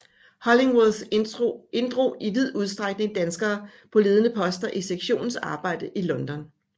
Hollingworth inddrog i vid udstrækning danskere på ledende poster i sektionens arbejde i London